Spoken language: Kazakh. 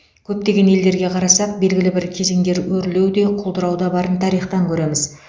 көптеген елдерге қарасақ белгілі бір кезеңдер өрлеу де құлдырау да барын тарихтан көреміз